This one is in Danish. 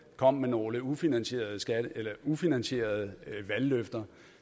kom med nogle ufinansierede ufinansierede valgløfter